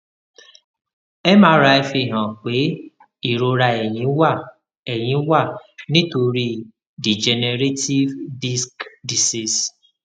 mri fihan pe irora ẹyin wa ẹyin wa nitori degenerative disc disease